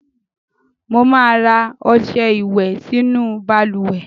Mo máa ra ọ̀sẹ̀ ìwẹ̀ sínú balùwẹ́